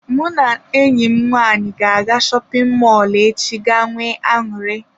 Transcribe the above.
Mụ na enyi m nwanyị ga-aga shopin mọlụ echi ga nwee aṅụrị.